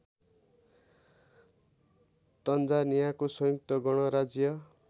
तन्जानियाको संयुक्त गणराज्य